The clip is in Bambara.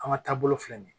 An ka taabolo filɛ nin ye